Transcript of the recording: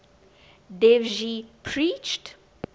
dev ji preached